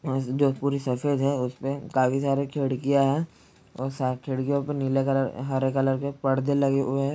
जो पूरी सफेद है उसे पे काफी सारी खिड़कियां है खिड़कियो पर नीले कलर हरे कलर के पर्दे लगे हुए है।